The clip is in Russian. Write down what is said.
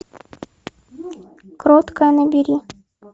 кроткая набери